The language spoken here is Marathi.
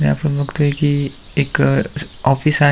हे आपण बगतोय की एक अ ऑफिस --